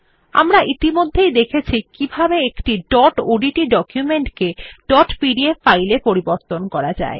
আমরা ইতিমধ্যেই দেখেছি কিভাবে একটি ডট ওডিটি ডকুমেন্ট কে ডট পিডিএফ ফাইল এ পরিবর্তন করা যায়